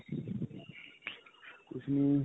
ਕੁੱਝ ਨਹੀਂ.